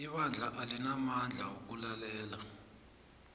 ibandla alinamandla wokulalela